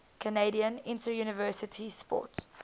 canadian interuniversity sport